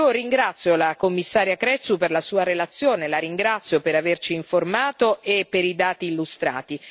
Ringrazio la Commissaria Crețu per la sua relazione, la ringrazio per averci informato e per i dati illustrati.